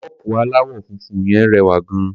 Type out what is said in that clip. Kọ́ọ̀pù aláwọ̀ funfun yẹn rẹwà gan-an.